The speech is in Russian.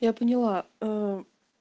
я поняла